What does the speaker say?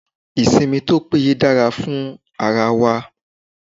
Ìsinmi tó péye dára fún ara wa.